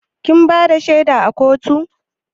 Kin bada shaida a kotu?